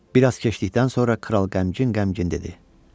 Bir az keçdikdən sonra kral qəmgin-qəmgin dedi.